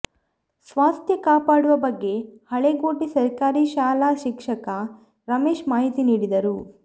ಸ್ವಾಸ್ಥ್ಯ ಕಾಪಾಡುವ ಬಗ್ಗೆ ಹಳೆಗೋಟೆ ಸರ್ಕಾರಿ ಶಾಲಾ ಶಿಕ್ಷಕ ರಮೇಶ್ ಮಾಹಿತಿ ನೀಡಿದರು